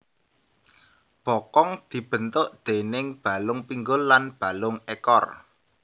Bokong dibentuk déning balung pinggul lan balung ekor